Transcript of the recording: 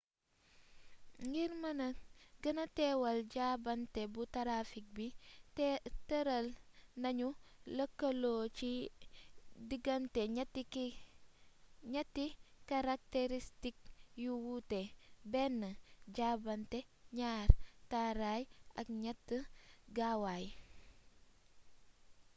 ngir gëna mëna teewal jaabante bu tarafik bi tëral nañu lëkkaloo ci digante ñetti karakteristik yu wuute: 1 jaabante 2 taraay ak 3 gaawaay